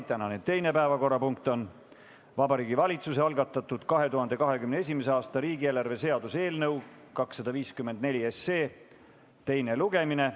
Tänane teine päevakorrapunkt on Vabariigi Valitsuse algatatud 2021. aasta riigieelarve seaduse eelnõu 254 teine lugemine.